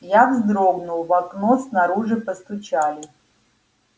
я вздрогнул в окно снаружи постучали